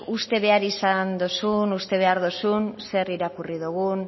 uste behar izan dozun uste behar dozun zer irakurri dogun